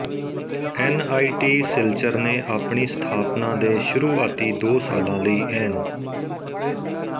N I T Silchar ਨੇ ਆਪਣੀ ਸਥਾਪਨਾ ਦੇ ਸ਼ੁਰੂਆਤੀ ਦੋ ਸਾਲਾਂ ਲਈ ਐਨ